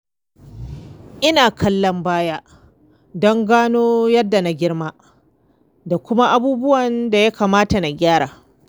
Ina kallon baya don gano yadda na girma da kuma abubuwan da ya kamata na gyara.